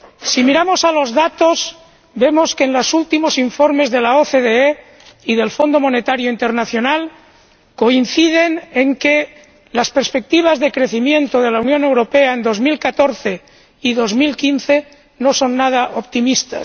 Si miramos los datos, vemos que los últimos informes de la OCDE y del Fondo Monetario Internacional coinciden en que las perspectivas de crecimiento en la Unión Europea en 2014 y 2015 no son nada optimistas